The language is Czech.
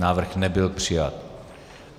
Návrh nebyl přijat.